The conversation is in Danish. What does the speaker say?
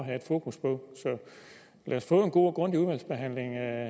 at have fokus på så lad os få en god og grundig udvalgsbehandling af